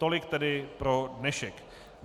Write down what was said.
Tolik tedy pro dnešek.